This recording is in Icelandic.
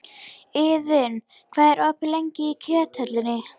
Iðunn, hvað er opið lengi í Kjöthöllinni?